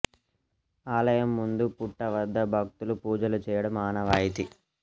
ఆలయం ముందు పుట్ట వద్ద భక్తులు పూజలు చేయడం ఆనవాయితీ